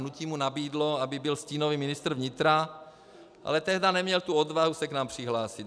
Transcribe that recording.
Hnutí mu nabídlo, aby byl stínový ministr vnitra, ale tehdy neměl tu odvahu se k nám přihlásit.